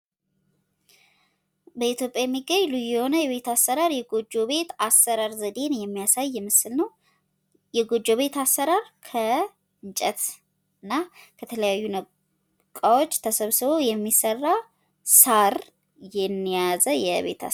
በኢትዮጵያ የሚገኝ ልዩ የሆነ የቤት አሰራር ፣ የጎጆ ቤት አሰራር ዘዴ የሚያሳይ ምስል ነው ፤ የጎጆ ቤት አሰራር ከእንጨት እና ከተለያዩ እቃዎች ተሰብስቦ የሚሰራ፣ ሳር የያዘ የቤት አሰራር ነው።